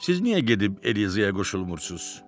Siz niyə gedib Elizaya qoşulmursunuz?